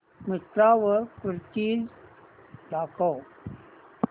मिंत्रा वर कुर्तीझ दाखव